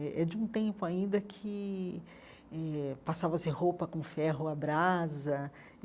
É é de um tempo ainda que eh passava-se roupa com ferro, a brasa.